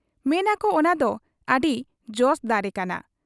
ᱢᱮᱱᱟᱠᱚ ᱚᱱᱟᱫᱚ ᱟᱹᱰᱤ ᱡᱚᱥ ᱫᱟᱨᱮ ᱠᱟᱱᱟ ᱾